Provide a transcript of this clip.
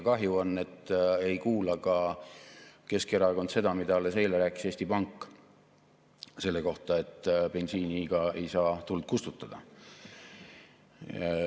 Kahju on, et ka Keskerakond ei kuula seda, mida alles eile rääkis Eesti Pank selle kohta, et bensiiniga ei saa tuld kustutada.